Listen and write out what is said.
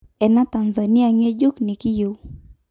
Ena Tanzania ngejuk nikiyeu.